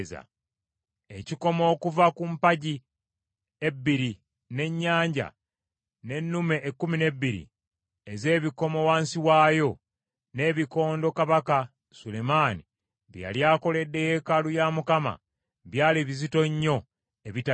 Ekikomo okuva ku mpagi ebbiri, n’Ennyanja, n’ennume ekkumi n’ebbiri ez’ebikomo wansi waayo, n’ebikondo kabaka Sulemaani bye yali akoledde yeekaalu ya Mukama , byali bizito nnyo ebitapimika.